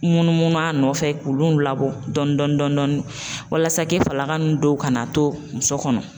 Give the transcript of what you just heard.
Munumunu a nɔfɛ k'olu labɔ dɔɔni dɔɔni walasa falaka ninnu dɔw kana to muso kɔnɔ .